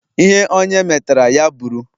Ihe onye metara, ya bụrụ.